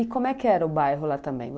E como é que era o bairro lá também?